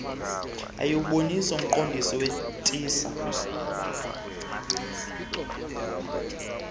ayiwubonisi umqondiso wetissa